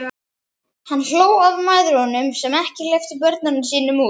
Hann hló að mæðrunum sem ekki hleyptu börnunum sínum út.